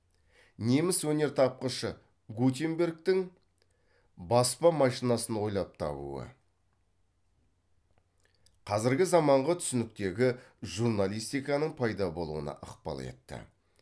неміс өнертапқышы гутенбергтің баспа машинасын ойлап табуы қазіргі заманғы түсініктегі журналистиканың пайда болуына ықпал етті